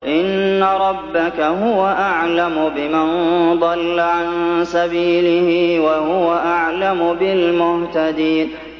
إِنَّ رَبَّكَ هُوَ أَعْلَمُ بِمَن ضَلَّ عَن سَبِيلِهِ وَهُوَ أَعْلَمُ بِالْمُهْتَدِينَ